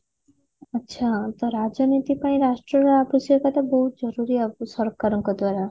ଆଛା ତ ରାଜନୀତି ପାଇଁ ରାଷ୍ଟ୍ରର ଆବଶ୍ୟକତା ବହୁତ ଜରୁରୀ ଅ ସରକାରଙ୍କ ଦ୍ଵାରା